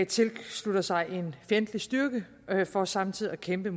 tilslutter sig en fjendtlig styrke for samtidig at kæmpe